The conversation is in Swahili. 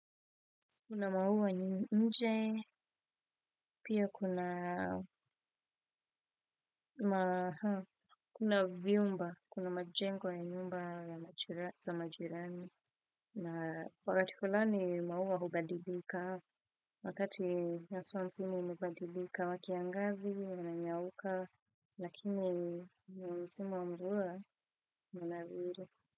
Kuna mauwa nje, pia kuna kuna viumba, kuna majengo ya nyumba za majirani. Na wakati fulani mauwa hubadibika, wakati naso msimi mubadibika wakiangazi, wananyauka, lakini msimu wa muua, wanawiri.